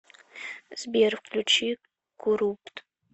сбер включи курупт